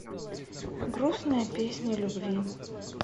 грустная песня любви